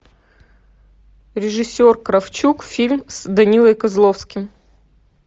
режиссер кравчук фильм с данилой козловским